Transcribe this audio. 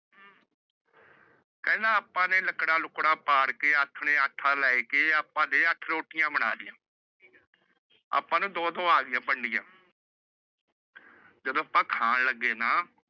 ਕਹਿੰਦਾ ਆਪਾ ਨੇ ਲੱਕੜਾ ਲੁਕੜਾ ਪਾੜ ਕੇ ਆਥਣ ਨੂੰ ਆਟਾ ਲੈਕੇ ਘਰੇ ਅੱਠ ਰੋਟੀਆਂ ਬਣਾ ਲਈਆਂ। ਆਪਾ ਨੂੰ ਦੋ ਦੋ ਆ ਗਈਆਂ ਵੰਡੀਆਂ। ਜਦੋ ਆਪ ਖਾਣ ਲੱਗੇ ਨਾ